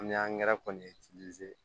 An bɛ kɔni